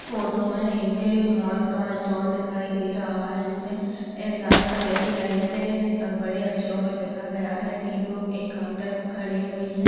Photo मे एक mall का स्टोल दिखाई दे रहा हैं जिसमे एक लाल कलर की लाइट से बड़े अक्षरों मे लिखा गया हैं तीन लोग एक काउन्टर पर खड़े हुए हैं।